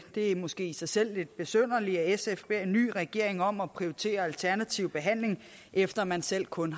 det er måske i sig selv lidt besynderligt at sf beder en ny regering om at prioritere alternativ behandling efter at man selv kun